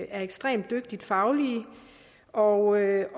er ekstremt dygtige fagligt og jeg